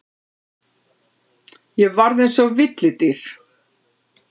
Ég varð eins og villidýr.